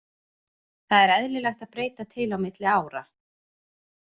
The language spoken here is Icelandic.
Það er eðlilegt að breyta til á milli ára.